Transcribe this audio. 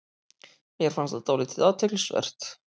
Mér fannst það dálítið athyglisvert